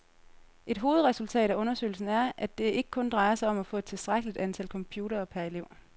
Et hovedresultat af undersøgelsen er, at det ikke kun drejer sig om at få et tilstrækkeligt antal computere per elev.